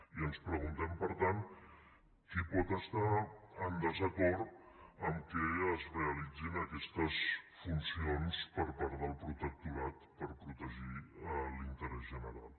i ens preguntem per tant qui pot estar en desacord amb el fet que es realitzin aquestes funcions per part del protectorat per protegir l’interès general